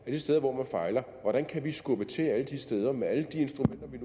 vi de steder hvor man fejler ser hvordan kan vi skubbe til alle de steder med alle de instrumenter vi